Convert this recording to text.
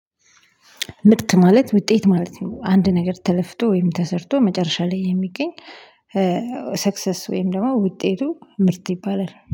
ምርት ማለት ውጤት ማለት ነው። አንድ ነገር ተለፍቶ ወይም ተሰርቶ መጨረሻ ላይ የሚገኝ ሰክሰስ ወይም ደግሞ ውጤቱ ምርት ይባላል